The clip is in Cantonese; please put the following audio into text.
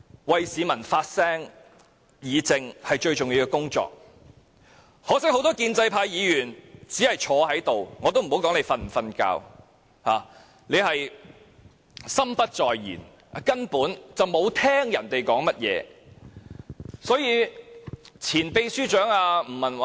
為市民發聲和議政是議員最重要的工作，可惜很多建制派議員只是坐在這——我也不說他們是否在睡覺——心不在焉，根本沒有聆聽其他人說甚麼。